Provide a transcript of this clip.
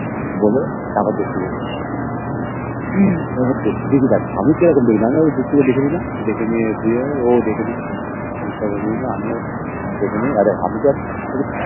বলে তারপর দেখতে গেছি তারপর দেখতে গেছি আর আমি তো দেখতে কেমন ওকে দেখে নিলাম দেখে নিয়ে ও দেখে নীল আর ওকে পটানোর চেষ্টা করিনি আমি